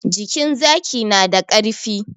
Jikin zaki na da karfi